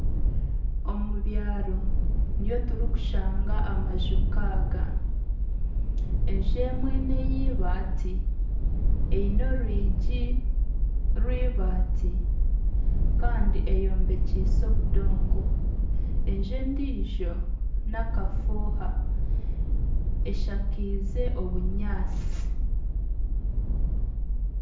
Omubyaaro niyo turikushanga amaju nkaga enju emwe neyeibaati eine orwigi rwibaati Kandi eyombekyiise obudongo enju endiijo nakafuuha eshakaize obunyatsi.